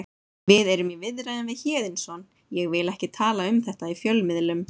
Við erum í viðræðum við Héðinsson ég vil ekki tala um þetta í fjölmiðlum.